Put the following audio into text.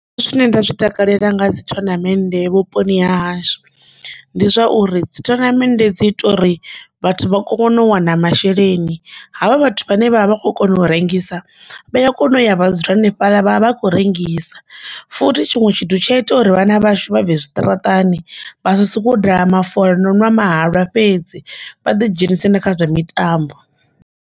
Zwine nda zwi takalela nga dzi thonamennde vhuponi ha hashu ndi zwauri dzithonamennde dzi ita uri vhathu vha kone u wana masheleni havha vhathu vhane vha vha vha kho kona u rengisa vha ya kona u ya vha dzula hanefhaḽa vhavha vha khou rengisa, futhi tshiṅwe tshithu tsha ita uri vhana vhashu vha bve zwiṱaraṱani vha soko daha mafola no nwa mahalwa fhedzi vha ḓi dzhenisi nda kha zwa mitambo.